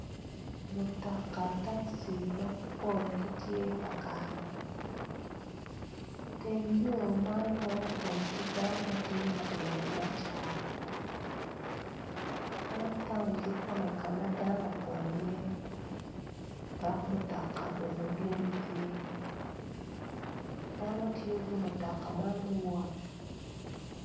Mutoka takci ampol gitye ka kato Teng yo man weng opong ki dano ma tye ka timo biacara man taun kikome ka ma dano opong dok mutoka bene dwong iye dano tiyo ki mutoka man me wot.